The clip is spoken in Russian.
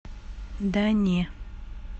да не